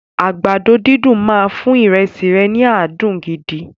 Àgbàdo dídùn máa fún ìrẹsì rẹ ní adùn gidi.